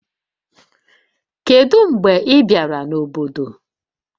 Kedu mgbe ị bịara n'obodo